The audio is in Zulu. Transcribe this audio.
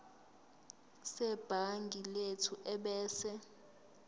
sebhangi lethu ebese